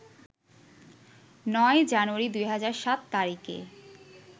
৯ জানুয়ারি ২০০৭ তারিখে